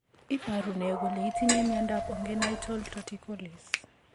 Iporu ne kole itinye miondap ongenital torticollis?